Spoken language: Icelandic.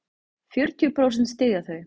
Fjörutíu prósent styðja þau.